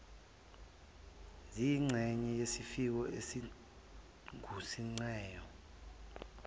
ziyingxenye yesiko elingusingaye